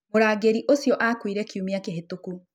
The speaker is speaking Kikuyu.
Mũrangĩri ũcio aakuire kiumia kĩhĩtũku.